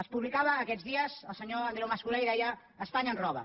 es publicava aquests dies el senyor andreu mas colell deia espanya ens roba